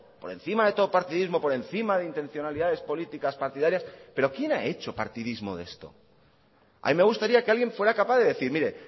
por encima de todo partidismo por encima de intencionalidades políticas partidarias pero quién ha hecho partidismo de esto a mí me gustaría que alguien fuera capaz de decir mire